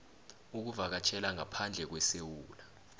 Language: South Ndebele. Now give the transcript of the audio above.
ukuvakatjhela ngaphandle kwesewula